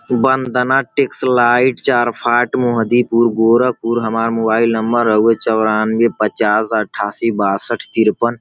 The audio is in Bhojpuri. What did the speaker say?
वंदना टैक्स लाइट चार फाट मोहदी पुर गोरखपुर हमार मोबाइल नंबर हउए चौरानबे पचास अठासी बासट तिरपन।